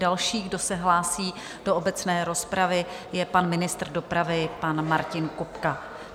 Další, kdo se hlásí do obecné rozpravy, je pan ministr dopravy pan Martin Kupka.